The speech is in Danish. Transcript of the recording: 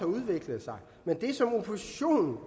udviklet sig men det som oppositionen